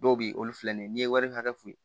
Dɔw be yen olu filɛ nin ye n'i ye wari hakɛ f'u ye